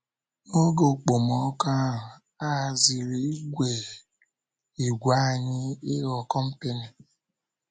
N’oge okpomọkụ ahụ, a haziri ìgwè anyị ịghọ kọmpịnị.